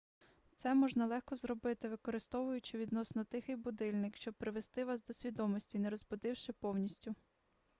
це можна легко зробити використовуючи відносно тихий будильник щоб привести вас до свідомості не розбудивши повністю